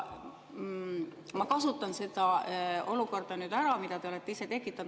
Ma kasutan ära seda olukorda, mille te olete ise tekitanud.